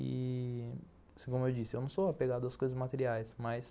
E, como eu disse, eu não sou apegado às coisas materiais, mas...